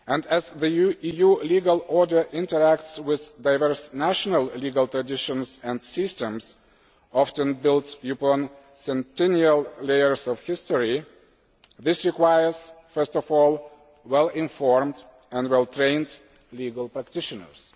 As the EU's legal order interacts with diverse national legal traditions and systems often built upon continual layers of history, this requires first of all well informed and well trained legal practitioners.